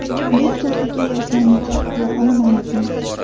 Biz sohaga yoshlarni jalb qila olmayapmiz.